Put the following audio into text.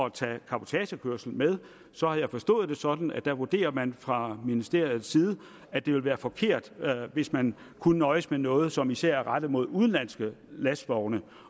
at tage cabotagekørsel med så har jeg forstået det sådan at der vurderer man fra ministeriets side at det ville være forkert hvis man kunne nøjes med noget som især er rettet mod udenlandske lastvogne